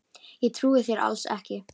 Ég trúi þér alls ekki!